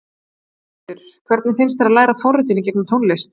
Þórhildur: Hvernig finnst þér að læra forritun í gegnum tónlist?